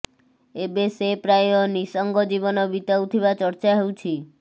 ଏବେ ସେ ପ୍ରାୟ ନିଃସଙ୍ଗ ଜୀବନ ବିତାଉଥିବା ଚର୍ଚ୍ଚା ହେଉଛି